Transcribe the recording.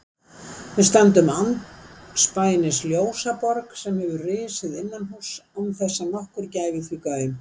Við stöndum andspænis ljósaborg sem hefur risið innanhúss án þess að nokkur gæfi því gaum.